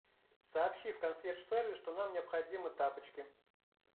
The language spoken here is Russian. сообщи в консьерж сервис что нам необходимы тапочки